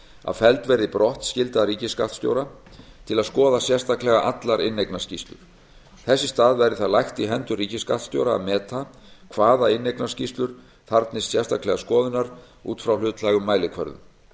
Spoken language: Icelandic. að felld verði brott skylda ríkisskattstjóra til að skoða sérstaklega allar inneignarskýrslur þess í stað verði það lagt í hendur ríkisskattstjóra að meta hvaða inneignarskýrslur þarfnist sérstaklega skoðunar út frá hlutlægum mælikvörðum